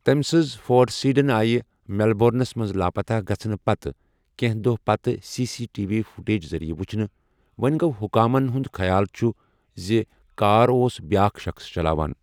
تمہِ سٕنٛز Ford sedan آیہ میلبورنَس منٛز لاپتہ گژھنہٕ پتہٕ کینٛہہَ دوہ پتہٕ C C T V footage ذٔریعہٕ ؤچھنہٕ ، وونہِ گو٘ حٗکامَن ہُنٛد خیال چھٗ زِ کاراوس بیٛاکھ شخٕص چلاوان۔